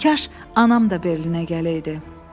Kaş anam da Berlinə gələydi.